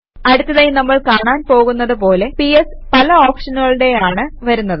അടുത്തതായി നമ്മൾ കാണാൻ പോകുന്നത് പോലെ പിഎസ് പല ഓപ്ഷനുകളോടെയാണ് വരുന്നത്